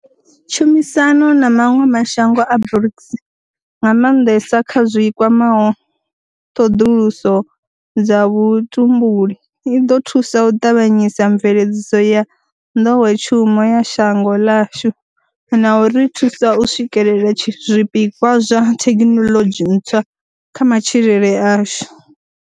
Tshumisano na maṅwe ma shango a BRICS, nga maanḓesa kha zwi kwamaho ṱhoḓuluso dza vhutumbuli, i ḓo thusa u ṱavhanyisa mve ledziso ya nḓowetshumo ya shango ḽashu na u ri thusa u swikela zwipikwa zwa thekhinoḽodzhi ntswa kha matshilele ashu.